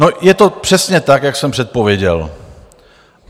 No, je to přesně tak, jak jsem předpověděl.